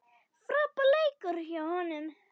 Frábær leikur hjá honum.